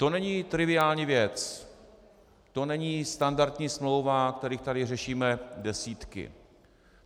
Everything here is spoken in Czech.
To není triviální věc, to není standardní smlouva, kterých tady řešíme desítky.